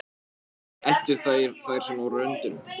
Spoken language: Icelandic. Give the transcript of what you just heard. Eltu þeir þær svona á röndum?